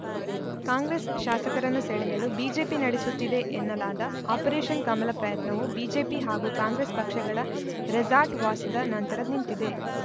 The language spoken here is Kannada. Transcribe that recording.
ಕಾಂಗ್ರೆಸ್‌ ಶಾಸಕರನ್ನು ಸೆಳೆಯಲು ಬಿಜೆಪಿ ನಡೆಸುತ್ತಿದೆ ಎನ್ನಲಾದ ಆಪರೇಷನ್‌ ಕಮಲ ಪ್ರಯತ್ನವು ಬಿಜೆಪಿ ಹಾಗೂ ಕಾಂಗ್ರೆಸ್‌ ಪಕ್ಷಗಳ ರೆಸಾರ್ಟ್‌ ವಾಸದ ನಂತರ ನಿಂತಿದೆ